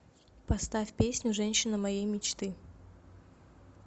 поставь песню женщина моей мечты